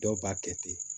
Dɔw b'a kɛ ten